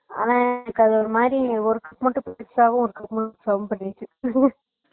ஆனா என்னக்கு ஒருமாதிரி work மட்டும் புதுசாவெ இருக்குரமாரி இருக்கு